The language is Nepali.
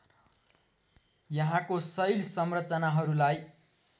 यहाँको शैल संरचनाहरूलाई